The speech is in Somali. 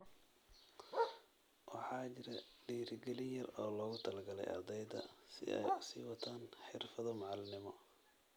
Waxaa jira dhiirigelin yar oo loogu talagalay ardayda si ay u sii wataan xirfado macalinimo.